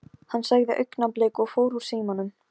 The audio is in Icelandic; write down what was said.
Fyrir hálfu ári hafði hún verið staðráðin að gerast nunna.